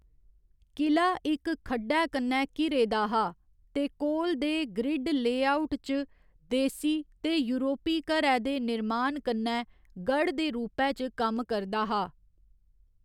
कि'ला इक खड्ढै कन्नै घिरे दे हा ते कोल दे ग्रिड लेआउट च देसी ते यूरोपी घरै दे निर्माण कन्नै गढ़ दे रूपै च कम्म करदा हा।